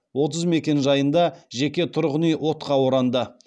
отыз мекенжайында жеке тұрғын үй отқа оранды